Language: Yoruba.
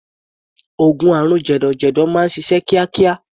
Oògùn àrùn jẹ̀dọ̀jẹ̀dọ̀ máa ń ṣiṣẹ́ kíákíá.